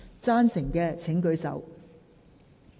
贊成的請舉手。